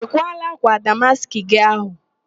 Ị kwaala ákwà damaskị gị ahụ?